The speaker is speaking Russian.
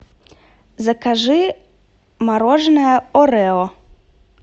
закажи мороженое орео